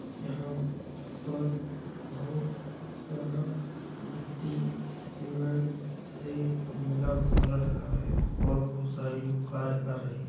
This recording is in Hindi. यहाँ पर बहुत सारा गिट्टी सीमेंट से मिला मसाला डला है और बहुत सारे लोग कार्य कर रहे --